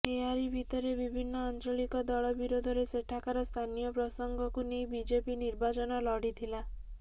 ଏହାରି ଭିତରେ ବିଭିନ୍ନ ଆଞ୍ଚଳିକ ଦଳ ବିରୋଧରେ ସେଠାକାର ସ୍ଥାନୀୟ ପ୍ରସଙ୍ଗକୁ ନେଇ ବିଜେପି ନିର୍ବାଚନ ଲଢ଼ିଥିଲା